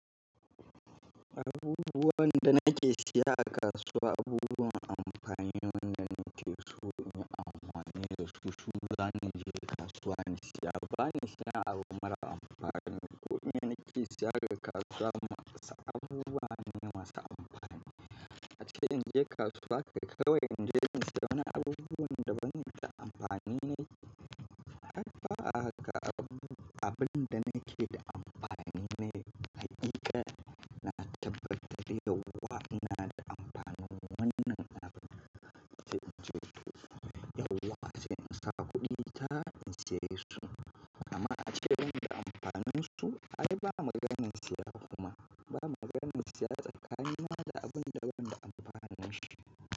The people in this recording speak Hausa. Abubuwan da nake siya a kasuwa, abubuwa amfani ne da nake so na amfani da su. Shugaba ne ke kasuwa ne, sai abane suna abun mara amfani. Ko me nake siya daga kasuwa masa, abubuwa ne masu amfani. A ce in je kasuwa kai kawai in je in ga wani abubuwan da bani da amfani ne har fa haka abun, abun da nake da amfani ne. Hakika na tabbatar yauwa ina da amfanin wannan abubuwan da nake so. Yauwa se in sa kuɗi ta in saya su amma ace ban da amfanin su. Ai ba maganan siya kuma ba maganan siya tsakka. Ni ma da abun da ban da amfanin shi.